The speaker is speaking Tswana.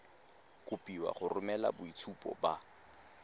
kopiwa go romela boitshupo ba